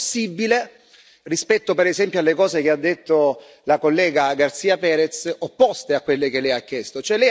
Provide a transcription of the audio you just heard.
Ma, se possibile, rispetto per esempio alle cose che ha detto la collega García Pérez, opposte a quelle che Lei ha chiesto.